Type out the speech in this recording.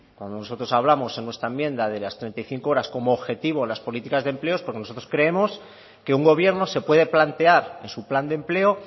cuando nosotros hablamos en nuestra enmienda de las treinta y cinco horas como objetivo en las políticas de empleo es porque nosotros creemos que un gobierno se puede plantear en su plan de empleo